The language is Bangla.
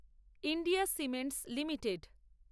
India Cements limited